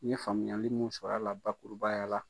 N ye faamuyali mun sɔrɔ a la bakurubaya la.